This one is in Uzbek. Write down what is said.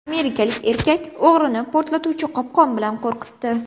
Amerikalik erkak o‘g‘rini portlovchi qopqon bilan qo‘rqitdi .